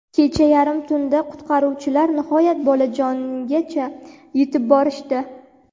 Kecha yarim tunda qutqaruvchilar nihoyat bolajongacha yetib borishdi.